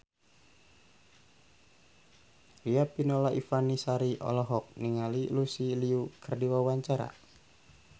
Riafinola Ifani Sari olohok ningali Lucy Liu keur diwawancara